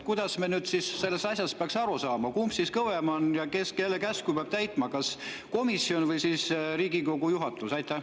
Kuidas me sellest asjast peaks aru saama, kumb siis kõvem on ja kes teise käsku peab täitma, kas komisjon või Riigikogu juhatus?